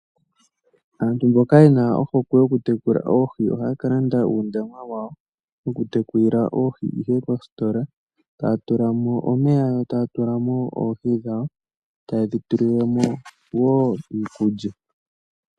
Aantu mboka yena ohokwe yokutekula oohi ,ohaya ka landa uundama wawo wokutekulila oohi ihe kositola. Taya tula mo omeya yo, taya tula mo oohi dhawo, taye dhi tulile mo woo iikulya.